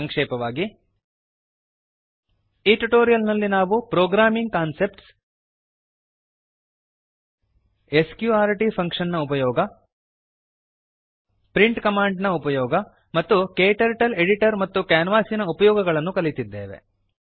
ಸಂಕ್ಷೇಪವಾಗಿ ಈ ಟ್ಯುಟೋರಿಯಲ್ ನಲ್ಲಿ ನಾವು ಪ್ರೋಗ್ರಾಮಿಂಗ್ ಕಾನ್ಸೆಪ್ಟ್ಸ್ ಸ್ಕ್ರ್ಟ್ ಫಂಕ್ಷನ್ ನ ಉಪಯೋಗ ಪ್ರಿಂಟ್ ಕಮಾಂಡಿನ ಉಪಯೋಗ ಮತ್ತು ಕ್ಟರ್ಟಲ್ ಎಡಿಟರ್ ಮತ್ತು ಕ್ಯಾನ್ವಾಸಿನ ಉಪಯೋಗಗಳನ್ನು ಕಲಿತಿದ್ದೇವೆ